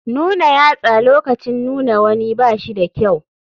Nuna yatsa lokacin nuna wani ba shi da kyau.